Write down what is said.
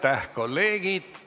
Aitäh, kolleegid!